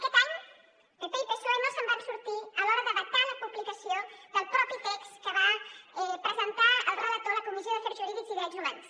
aquest any pp i psoe no se’n van sortir a l’hora de vetar la publicació del propi text que va presentar el relator a la comissió d’afers jurídics i drets humans